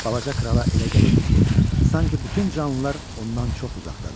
Balaca krala elə gəlirdi ki, sanki bütün canlılar ondan çox uzaqdadır.